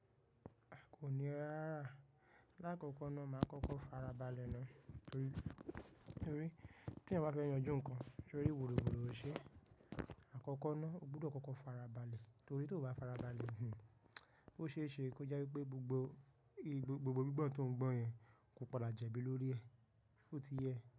A kò ní rárà. Láàkọ́kọ́ náà, màá kọ́kọ́ fara balẹ̀ náà torí tí ẹ̀ bá fẹ́ yanjú nǹkan torí wùrúwùru ò ṣe é. Àkọ́kọ́ náà, o gbúdọ̀ kọ́kọ́ fara balẹ̀ torí tí o bá fara balẹ̀, ó ṣe é ṣe kó jẹ́ wípé gbogbo gbogbo gbígbọ́n tó ń gbọ́n yẹn kò palàjà ẹbí lórí ẹ, ó ti yẹ.